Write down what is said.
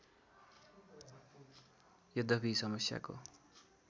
यद्यपि यो समस्याको